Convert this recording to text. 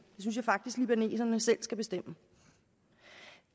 synes jeg faktisk libaneserne selv skal bestemme